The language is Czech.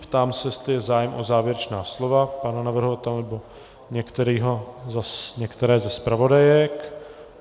Ptám se, jestli je zájem o závěrečná slova pana navrhovatele nebo některé ze zpravodajek.